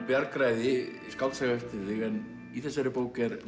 bjargræði skáldsaga eftir þig en í þessari bók er